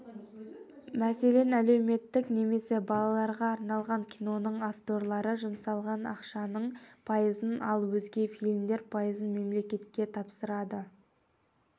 мәселен әлеуметтік немесе балаларға арналған киноның авторлары жұмсалған ақшаның пайызын ал өзге фильмдер пайызын мемлекетке тапсырады